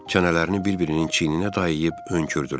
Çənələrini bir-birinin çiyninə dayayıb önkürdülər.